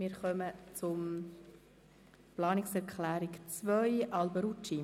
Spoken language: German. Wir kommen zur Planungserklärung 2 von Grossrat Alberucci.